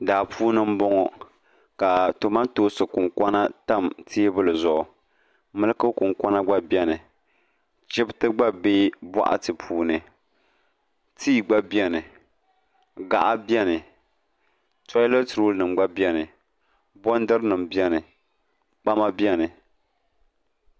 Daa puuni m-bɔŋɔ ka tomantoonsi kuŋkɔna tam teebuli zuɣu miliki kuŋkɔna ɡba beni chibiti ɡba be bɔɣati puuni tii ɡba beni ɡaɣa beni tɔilɛti roolinima ɡba beni bɔndirinima beni kpama beni